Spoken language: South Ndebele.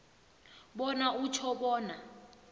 bona utjho bona